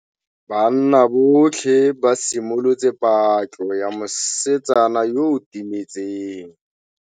Banna botlhê ba simolotse patlô ya mosetsana yo o timetseng.